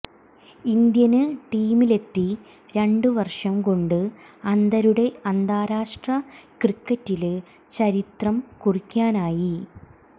Indian ടീമിലെത്തി രണ്ടു വര്ഷം കൊണ്ട് അന്ധരുടെ അന്താരാഷ്ട്ര ക്രിക്കറ്റില് ചരിത്രം കുറിക്കാനായി